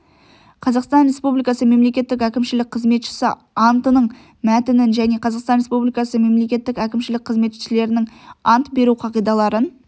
қазақстан республикасы мемлекеттік әкімшілік қызметшісі антының мәтінін және қазақстан республикасы мемлекеттік әкімшілік қызметшілерінің ант беру қағидаларын